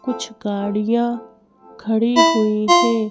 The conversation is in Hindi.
कुछ गाड़ियां खड़ी हुई है।